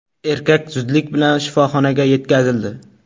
Erkak zudlik bilan shifoxonaga yetkazildi.